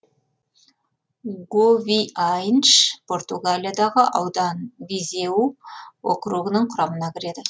говиайнш португалиядағы аудан визеу округінің құрамына кіреді